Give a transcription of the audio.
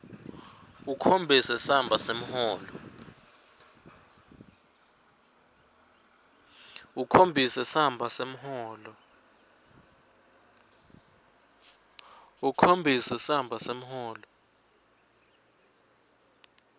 ukhombise samba semholo